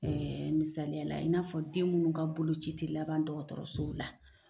misaliyala i n'a fɔ den minnu ka bolo ci tɛ laban dɔgɔtɔrɔsow la.